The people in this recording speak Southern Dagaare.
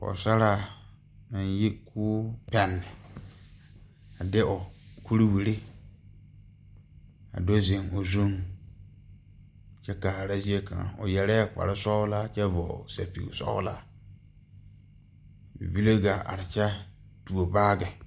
Pɔɔsaraa naŋ yi koo pɛnne a de o kuriwire a do zeŋ o zuŋ kyɛ kaara zie kaŋ o yɛrɛɛ kparesɔglaa kyɛ vɔgle sɛpige sɔglaa bibile gaa are kyɛ tuo baagi.